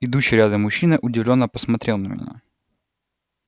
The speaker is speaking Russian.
идущий рядом мужчина удивлённо посмотрел на меня